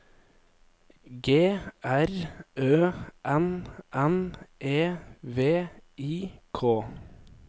G R Ø N N E V I K